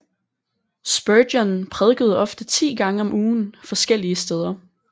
Spurgeon prædikede ofte 10 gange om ugen forskellige steder